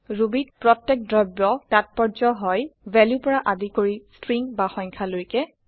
Rubyত প্ৰত্যেক দ্ৰব্য তাত্পৰ্য হয়160 ভেলু পৰা আদি কৰি ষ্ট্ৰিং বা সংখ্যা লৈকে